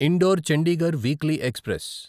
indoor Chandigarh weekly express